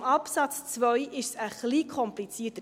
Bei Absatz 2 ist es ein wenig komplizierter.